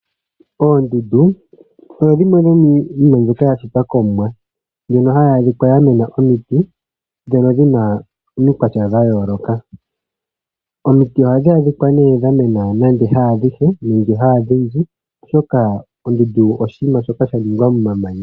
Oondundu odho dhimwe dhomiinima mbyoka yashitwa komumwa, mbyono hayi adhika yamena omiti dhono dhina omikwatya dhayooloka. Omiti ohadhi adhika ne dhamena nande ha adhishe nenge ha odhindji oshoka ondundu oshinima shoka shaningwa momamanya.